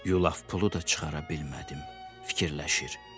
Yulaf pulu da çıxara bilmədim, fikirləşir.